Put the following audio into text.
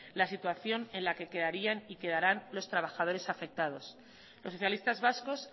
la situación en la que quedarían y quedarán los trabajadores afectados los socialistas vascos